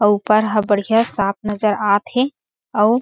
और ऊपर ह बढ़िया साफ नजर आत हे अउ --